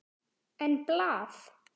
En blað?